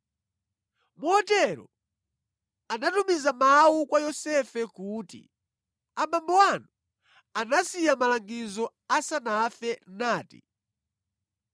Motero anatumiza mawu kwa Yosefe kuti, “Abambo anu anasiya malangizo asanafe nati: